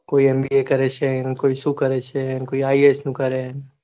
કોઈ MBA કરે છે કોઈ સુ કરે છે કોઈ IAS